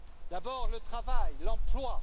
D'abord, le travail, l'emploi.